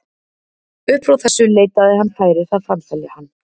Upp frá þessu leitaði hann færis að framselja hann.